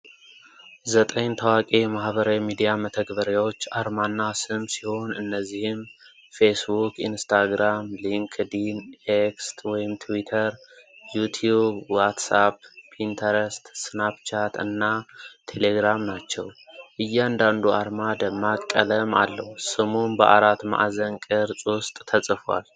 ዘጠኝ ታዋቂ የማኅበራዊ ሚዲያ መተግበሪያዎች አርማና ስም ሲሆን እነዚህም ፌስቡክ፣ ኢንስታግራም፣ ሊንክድኢን፣ ኤክስ (ትዊተር)፣ ዩቲዩብ፣ ዋትስአፕ፣ ፒንትረስት፣ ስናፕቻት እና ቴሌግራም ናቸው። እያንዳንዱ አርማ ደማቅ ቀለም አለው፤ ስሙም በአራት ማዕዘን ቅርጽ ውስጥ ተጽፏል።